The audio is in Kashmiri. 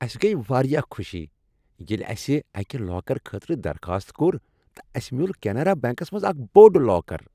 اسہِ گٔیۍ واریاہ خوش ییٚلہ اسہ اکہ لاکرٕ خٲطرٕ درخاست کٔور تہٕ اسہ میوٗل کینرا بیٚنٛکس منٛز اکھ بوٚڑ لاکر۔